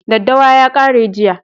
Daddawa ya kare jiya